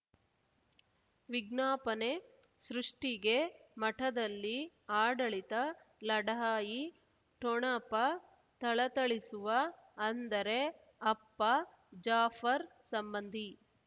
ವಿಜ್ಞಾಪನೆ ಸೃಷ್ಟಿಗೆ ಮಠದಲ್ಲಿ ಆಡಳಿತ ಲಢಾಯಿ ಠೊಣಪ ಥಳಥಳಿಸುವ ಅಂದರೆ ಅಪ್ಪ ಜಾಫರ್ ಸಂಬಂಧಿ